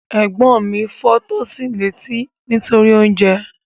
Ẹ̀gbọ́n mi fọ́ Tosin létí nítorí oúnjẹ